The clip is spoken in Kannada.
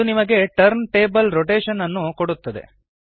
ಅದು ನಮಗೆ ಟರ್ನ್ ಟೇಬಲ್ ರೊಟೇಶನ್ ಅನ್ನು ಕೊಡುತ್ತದೆ